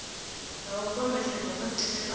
ha u kombetshedza kha khethekanyo